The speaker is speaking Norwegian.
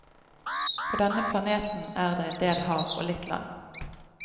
På denne planeten er det en del hav, og litt land.